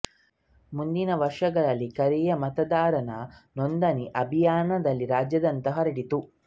ಮುಂದಿನ ವರ್ಷಗಳಲ್ಲಿ ಕರಿಯ ಮತದಾರ ನೋಂದಣಿ ಅಭಿಯಾನವು ರಾಜ್ಯಾದ್ಯಂತ ಹರಡಿತು